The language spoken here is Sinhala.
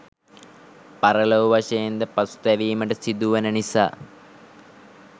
පරලොව වශයෙන් ද පසුතැවීමට සිදුවන නිසා